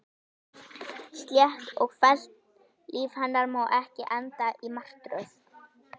Slétt og fellt líf hennar má ekki enda í martröð.